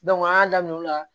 an y'a daminɛ o la